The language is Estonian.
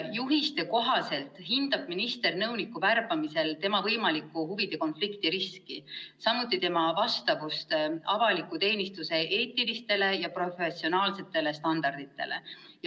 Juhiste kohaselt hindab minister nõuniku värbamisel tema võimalikku huvide konflikti riski, samuti tema vastavust avaliku teenistuse eetilistele ja professionaalsetele standarditele.